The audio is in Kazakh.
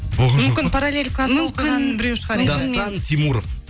мүмкін параллель класта оқыған біреу шығар енді дастан тимуров